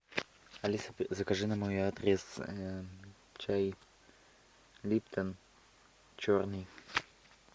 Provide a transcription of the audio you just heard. алиса закажи на мой адрес чай липтон черный